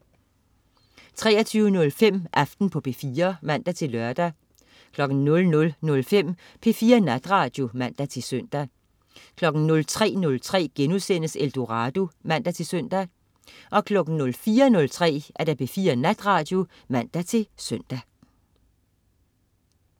23.05 Aften på P4 (man-lør) 00.05 P4 Natradio (man-søn) 03.03 Eldorado* (man-søn) 04.03 P4 Natradio (man-søn)